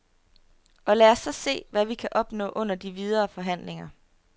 Og lad os så se, hvad vi kan opnå under de videre forhandlinger.